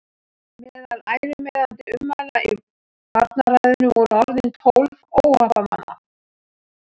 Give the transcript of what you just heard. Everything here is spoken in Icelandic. Meðal ærumeiðandi ummæla í varnarræðunni voru orðin tólf óhappamanna.